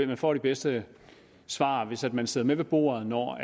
man får det bedste svar hvis man sidder med ved bordet når